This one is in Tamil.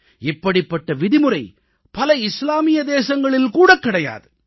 இப்படிப்பட்ட விதிமுறை பல இஸ்லாமிய தேசங்களில் கூடக் கிடையாது